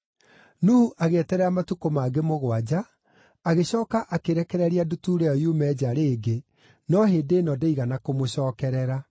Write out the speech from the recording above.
Nuhu agĩeterera matukũ mangĩ mũgwanja, agĩcooka akĩrekereria ndutura ĩyo yume nja rĩngĩ, no hĩndĩ ĩno ndĩigana kũmũcookerera.